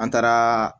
An taara